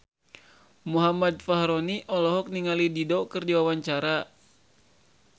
Muhammad Fachroni olohok ningali Dido keur diwawancara